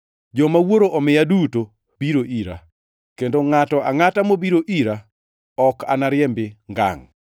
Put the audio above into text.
Joma Wuoro omiya duto biro ira, kendo ngʼato angʼata mobiro ira ok anariembi ngangʼ.